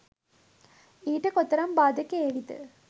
ඊට කොතරම් බාධක ඒවිද?